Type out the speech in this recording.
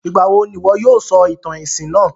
Ìgbàwo n'ìwo yóò sọ ìtàn èsìn náà?